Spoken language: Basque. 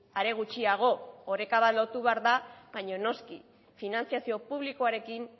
are gutxiago oreka bat lortu behar da baina noski finantzazio publikoarekin